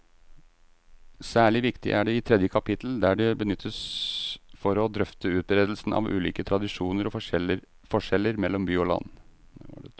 Særlig viktig er det i tredje kapittel, der det benyttes for å drøfte utbredelsen av ulike tradisjoner og forskjeller mellom by og land.